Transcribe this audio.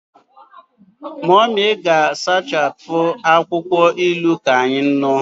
Mummy ga-asachapụ akwụkwọ ilu ka anyị ṅụọ.